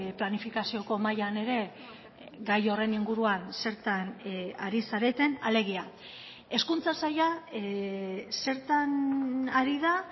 planifikazioko mahaian ere gai horren inguruan zertan ari zareten alegia hezkuntza saila zertan ari da